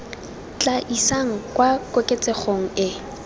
tla isang kwa koketsegong e